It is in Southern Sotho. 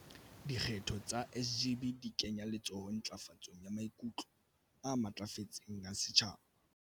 "Dikgetho tsa SGB di kenya letsoho ntlafatsong ya maikutlo a matlafetseng a setjhaba."